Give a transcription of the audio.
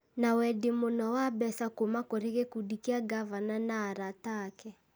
na wendi mũno wa mbeca kuuma kũrĩ gĩkundi kĩa ngavana na arata ake.